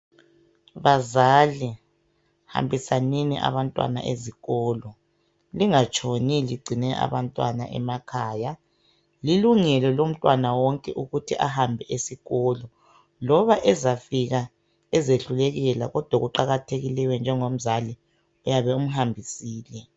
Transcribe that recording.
Bazali hambisanini abantwana ezikolo lingatshoni ligcine abantwana emakhaya lilungelo lomntwana wonke ukuthi ahambe esikolo loba ezafika ezehlulekela kodwa okuqakathekileyo njengomzali uyabe umhambisile.